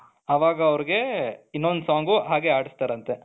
ಅವಾಗ ಅವರಿಗೆ ಇನ್ನೊಂದು song ಹಾಗೆ ಆಡಿಸ್ತಾರಂತೆ.